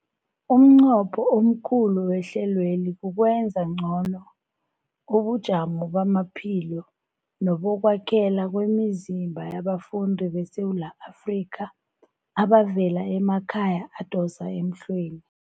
Umnqopho omkhulu wehlelweli kukwenza ngcono ubujamo bamaphilo nebokwakhela kwemizimba yabafundi beSewula Afrika abavela emakhaya adosa emhlweni.